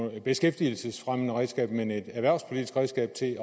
et beskæftigelsesfremmende redskab men som et erhvervspolitisk redskab til